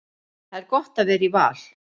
Það er gott að vera í Val.